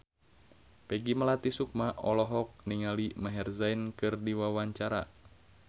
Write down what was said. Peggy Melati Sukma olohok ningali Maher Zein keur diwawancara